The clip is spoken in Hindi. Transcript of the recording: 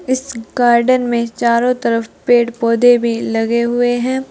इस गार्डन में चारों तरफ पेड़ पौधे भी लगे हुए हैं।